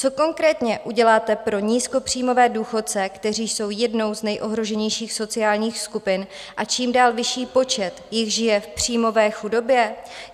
Co konkrétně uděláte pro nízkopříjmové důchodce, kteří jsou jednou z nejohroženějších sociálních skupin, a čím dál vyšší počet jich žije v příjmové chudobě?